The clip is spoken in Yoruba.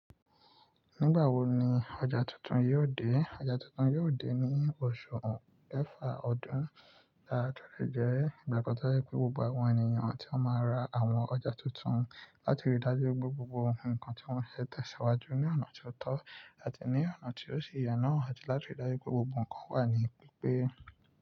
Nígbà wo ni ọjà tuntun yóò dé? Ọjà tuntun yóò dé ní oṣù mẹ́fà ọdún. Da, a lè jẹ́ ìgbàkàn tí o jẹ pé gbogbo àwọn ènìyàn tí ó máa ra àwọn ọjà tuntun láti rí dájú pé gbogbo ohun nǹkan tí wọ́n ṣe tẹ̀síwájú ní ọ̀nà tó tọ́ àti ní ọ̀nà tí ó sì yẹ na àti láti rí dájú pé gbogbo nǹkan wà ní pípé.